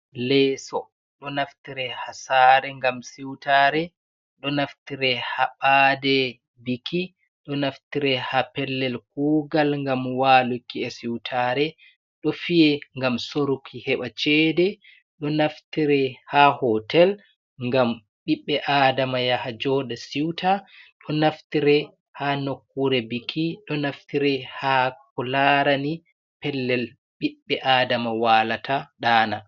Leeso ɗo naftire ha saare ngam siutare. Ɗon naftire ha ɓaade biki, ɗo naftire ha pellel kuugal, ngam waluki e siutare. Ɗo fiye ngam soruki, heɓa cede. Ɗo naftire ha hotel, ngam ɓiɓɓe adama yaha jooɗa siwta. Ɗo naftire ha nokkure biki, ɗo naftire ha ko larani pellel ɓiɓɓe adama waalata ɗaana.